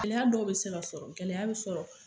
Gɛlɛya dɔw bɛ se ka sɔrɔ, gɛlɛya bɛ sɔrɔ.